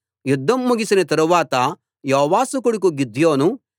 యుద్ధం ముగిసిన తరువాత యోవాషు కొడుకు గిద్యోను